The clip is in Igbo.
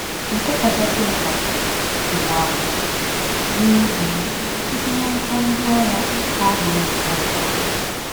Nke kachasị mkpa, nsogbu ahụ ga-adị, n’ezie, site n’aka ndị agha na-abụghị nke ụwa.